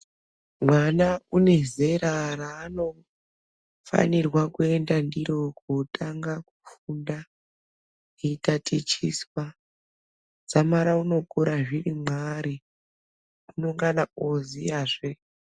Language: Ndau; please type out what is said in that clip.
Mwana une zera raanofanirwa kuenda ndirokotanga kofunda eitatichiswa dzamara unokura zviri mwaari unengana ooziyazve.